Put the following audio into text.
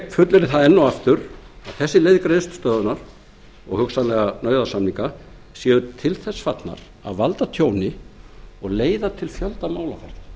þær heimili greiðslustöðvun og hugsanlega nauðasamninga fjármálafyrirtækja sem eru gjaldþrota og séu til þess fallnar að valda tjóni og fjölda